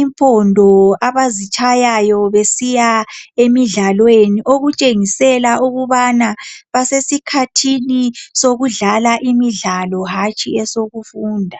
impondo abazitshayayo besiya emidlalweni okutshengisela ukubana basesikhathini sokudlala imidlalo hatshi esokufunda.